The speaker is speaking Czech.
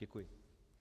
Děkuji.